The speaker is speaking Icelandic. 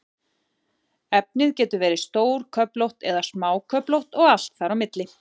Efnið getur verið stórköflótt eða smáköflótt og allt þar á milli.